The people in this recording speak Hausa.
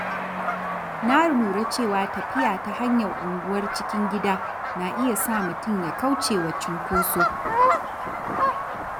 Na lura cewa tafiya ta hanyar unguwar cikin gida na iya sa mutum ya kauce wa cunkoso.